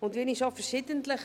Und wie ich schon verschiedentlich